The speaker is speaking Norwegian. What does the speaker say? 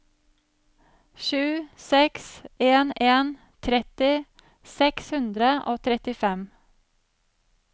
sju seks en en tretti seks hundre og trettifem